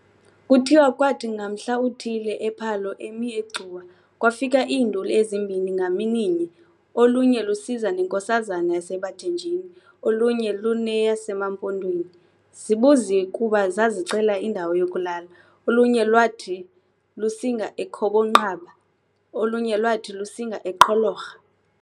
Kuthiwa kwathi ngamhla uthile, uPhalo emi eGcuwa, kwafika "iinduli" ezimbini ngamininye, olunye lusiza nenkosazana yaseBathenjini, olunye luneyasemaMpondweni. Zibuziwe kuba zazicela indawo yokulala, olunye lwaathi lusinga eKhobonqaba, olunye lwathi lusinga eQholorha.